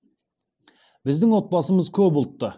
біздің отбасымыз көп ұлтты